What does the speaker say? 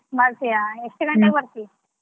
ಬರ್ತೀಯಾ ಎಷ್ಟ್ ಗಂಟೆಗ ಬರ್ತಿ?